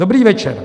"Dobrý večer.